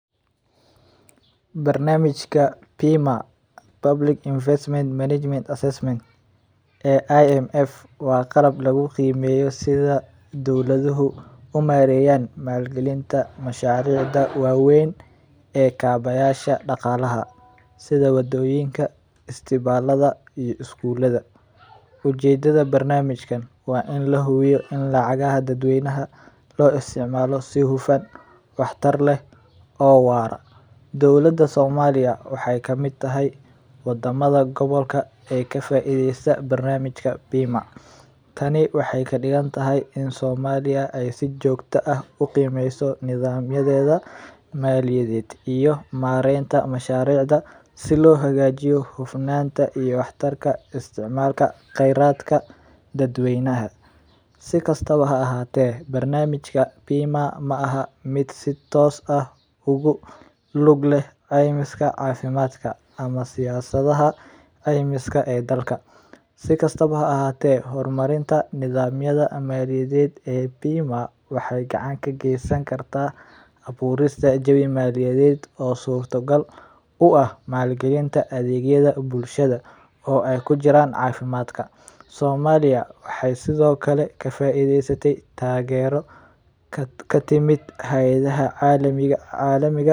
Barnamijka Bima public investment management accessment ee IMF waa qalab lagu qiimeyo sidha dowladuhu umareyan maal galinta mashariicda waweyn ee kabaysha daqaalaha sida isbitaalada iyo iskuulada, ujeedada barnamijkan waa in la hubiyo in lacagaha dad weynaha loo isticmaalo si hufan wax tar leh oo waara, dowlada somaliya waxeey kamid tahay wadamada gobolka ee ka faideeste barnamijkan, tani waxeey kadigan tahay in somaliya si joogta ah uqimeysa nidamyadeeda maaliyadeed ayado mareenta mashariicda si loo hubiyo hufanaata iyo wax tarka usticmaalka kheradka dad weynaha, si kastaba ha ahaate barnamijka ma aha mid si toos ah ugu lug leh ceymiska cafimaadka ama siyasadaha ceymiska ee dalka, waxeey gacan ka geesan karta abuurista jawi maaliyadeed u ah maal galin adeegyada bulshada oo aay kujiraan cafimaadka, somaliya waxeey sido kale ka faideeste.